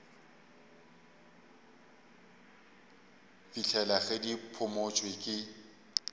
fihlela ge di phumotšwe ke